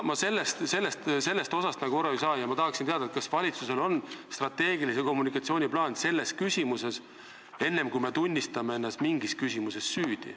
Ma ei saa sellest aru ja tahaksin teada, kas valitsusel on strateegilise kommunikatsiooni plaan tegutsemiseks, enne kui me tunnistame ennast mingis küsimuses süüdi.